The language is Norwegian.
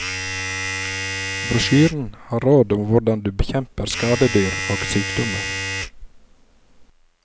Brosjyren har råd om hvordan du bekjemper skadedyr og sykdommer.